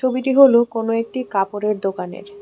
ছবিটি হলু কোন একটি কাপড়ের দোকানের।